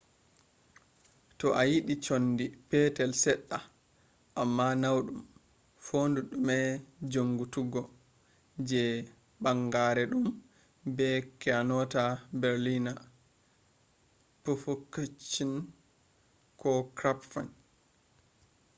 toh ayidi conndi petel sedda amma naudum fondu dume jonngituggo je banngeere dum be kyonata berliner pfannkuchen ko krapfen